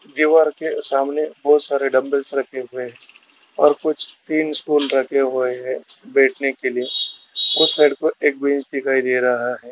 दीवार के सामने बहुत सारे डंबल्स रखे हुए हैं और कुछ तीन रखे हुए हैं बैठने के लिए उस साइड